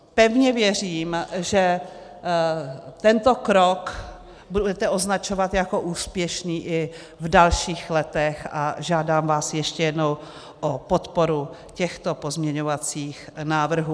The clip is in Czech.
Pevně věřím, že tento krok budete označovat jako úspěšný i v dalších letech, a žádám vás ještě jednou o podporu těchto pozměňovacích návrhů.